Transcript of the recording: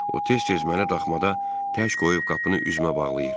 O tez-tez mənə daxmada tək qoyub qapını üzümə bağlayır.